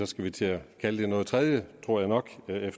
skal vi til at kalde det noget tredje tror jeg nok